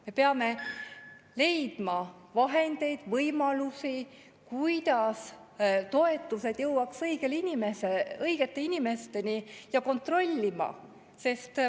Me peame leidma vahendeid, võimalusi tagada, et toetused jõuaks õigete inimesteni, ja kõike kontrollima.